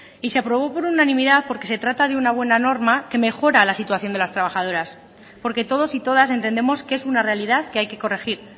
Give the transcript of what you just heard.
y se aprobó por unanimidad porque se trata de una buena norma que mejora la situación de las trabajadoras porque todos y todas entendemos que es una realidad que hay que corregir